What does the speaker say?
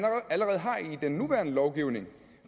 den nuværende lovgivning